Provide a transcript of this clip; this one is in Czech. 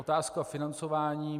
Otázka financování.